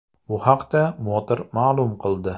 Bu haqda Motor ma’lum qildi .